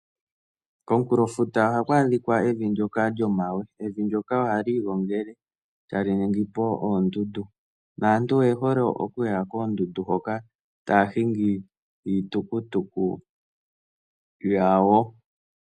Komunkulofuta ohaku adhika evi ndyoka lyomawe, evi ndyoka ohali igongele etali ningipo oondundu, naantu oye hole okuya koondundu hoka etaya hingi iitukutuku yawo.